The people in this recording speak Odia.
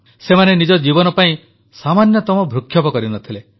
ସେମାନେ ନିଜ ଜୀବନ ପାଇଁ ସାମାନ୍ୟତମ ଭ୍ରୂକ୍ଷେପ କରିନଥିଲେ